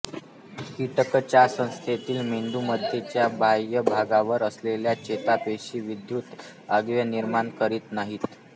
कीटकचेतासंस्थेतील मेंदूमध्येच्या बाह्य भागावर असलेल्या चेतापेशी विद्युत आवेग निर्माण करीत नाहीत